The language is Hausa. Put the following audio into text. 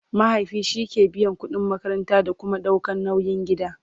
mahaifi shike biyan ƙudin makaranta da Kuma ɗaukan nauyin gida